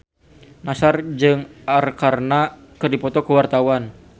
Nassar jeung Arkarna keur dipoto ku wartawan